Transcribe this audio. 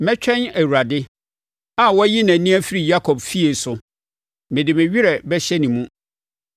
Mɛtwɛn Awurade a wayi nʼani afiri Yakob efie so mede me werɛ bɛhyɛ ne mu.